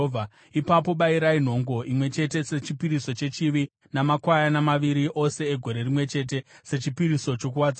Ipapo bayirai nhongo imwe chete sechipiriso chechivi namakwayana maviri, ose egore rimwe chete, sechipiriso chokuwadzana.